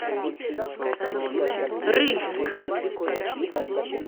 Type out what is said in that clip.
рыльск